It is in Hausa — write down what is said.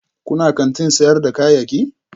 Kuna kantin sayar da kayayyaki?